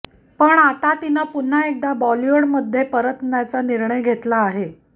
पण आता तिनं पुन्हा एकदा बॉलिवूडमध्ये परतण्याचा निर्णय घेतला आहे